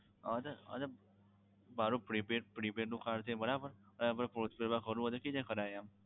અને અને મારુ prepaid નું card છે બરાબર એને postpaid મા convert કરવું હોય તો એને કઈ રીતે કરાય એમ